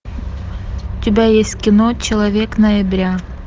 у тебя есть кино человек ноября